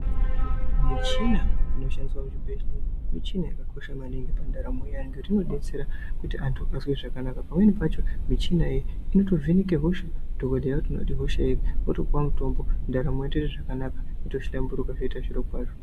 Muchina inoshandiswa muzvibhedhleya michina yakakosha maningi ngekuti inodetsera kuti antu azwe zvakanaka pamweni pacho michinayo inotovheneke hosha dhokodheya otoona kuti ihosha iri wotopuwa mutombo ndaramo yotoita zvakanaka yotohlamburuka zvoite zvirokwazvo.